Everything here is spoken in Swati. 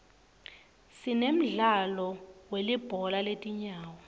sinemdlalo wilibhola letinyawo